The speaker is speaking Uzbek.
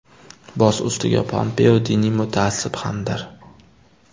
Boz ustiga, Pompeo diniy mutaassib hamdir.